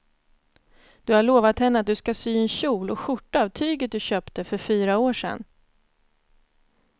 Du har lovat henne att du ska sy en kjol och skjorta av tyget du köpte för fyra år sedan.